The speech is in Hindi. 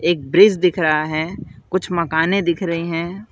एक ब्रिज दिख रहा है कुछ मकानें दिख रहे हैं।